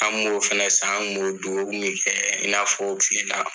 An b'o fana san ,an b'o dun, o kun min kɛ i n'a fɔ tile la.